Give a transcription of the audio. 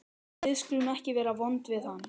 Við skulum ekki vera vond við hann.